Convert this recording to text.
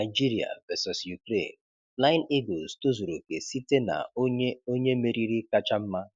Nigeria Vs Ukraine: Flying Eagles tozuru oke site na onye onye meriri kacha mma